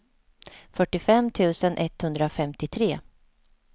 fyrtiofem tusen etthundrafemtiotre